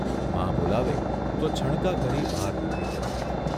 મા બોલાવે તો છણકા કરી બહાર નીકળી જતી.